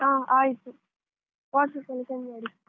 ಹ ಆಯ್ತು WhatsApp ಅಲ್ಲಿ send ಮಾಡು.